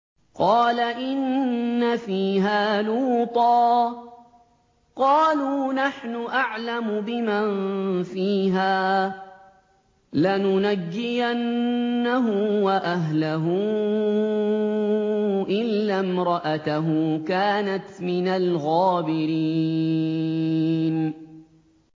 قَالَ إِنَّ فِيهَا لُوطًا ۚ قَالُوا نَحْنُ أَعْلَمُ بِمَن فِيهَا ۖ لَنُنَجِّيَنَّهُ وَأَهْلَهُ إِلَّا امْرَأَتَهُ كَانَتْ مِنَ الْغَابِرِينَ